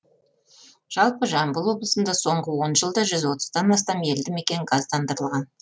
жалпы жамбыл облысында соңғы он жылда жүз отыздан астам елді мекен газдандырылған